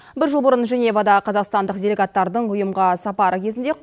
бір жыл бұрын женевада қазақстандық делегаттардың ұйымға сапары кезінде